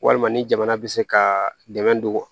Walima ni jamana bɛ se ka dɛmɛ don wa